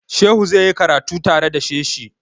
Shehu zai yi karatu tare da shehi.